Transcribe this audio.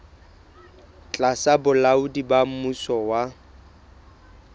tlasa bolaodi ba mmuso wa